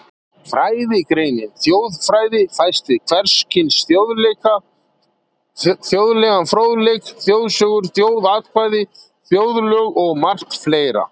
Fræðigreinin þjóðfræði fæst við hvers kyns þjóðlegan fróðleik, þjóðsögur, þjóðkvæði, þjóðlög og margt fleira.